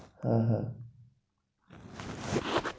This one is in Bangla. হ্যাঁ হ্যাঁ,